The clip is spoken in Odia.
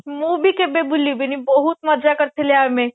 ମୁଁ ବି କେବେ ଭୁଲି ବିନି ବହୁତ ମଜା କରି ଥିଲେ ଆମେ